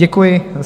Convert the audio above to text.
Děkuji.